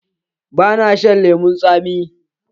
Ba na shan lemun tsami.